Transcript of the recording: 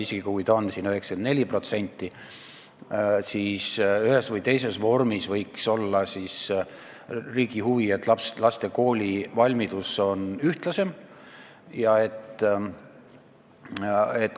Isegi kui see on 94%, siis ühes või teises vormis võiks olla riigi huvi, et laste koolivalmidus oleks ühtlasem.